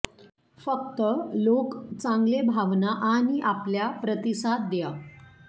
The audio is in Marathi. फक्त लोक चांगले भावना आणि आपल्या प्रतिसाद द्या